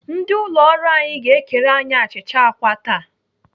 Ndị ụlọ ọrụ anyị ga-ekere anyị achịcha àkwá taa.